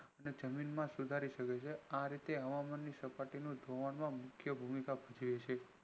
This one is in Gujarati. અને જમીન માં સુધારી શકે છે આ રીતે હવામાન ની સપાટીનું ધોવાની મુખ્ય ભૂમિકા ભજવે છે